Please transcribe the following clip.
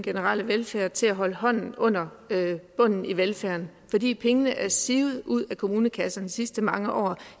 generelle velfærd og til at holde hånden under bunden i velfærden fordi pengene er sivet ud af kommunekasserne de sidste mange år